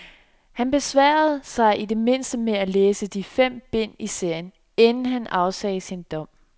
Han besværede sig i det mindste med at læse de fem bind i serien, inden han afsagde sin dom.